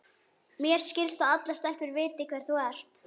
Mér skilst að allar stelpur viti hver þú ert.